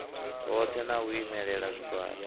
hoṱhe na u imelela zwigwada